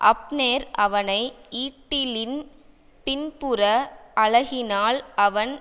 Abner அவனை ஈட்டிலின் பின்புற அலகினால் அவன்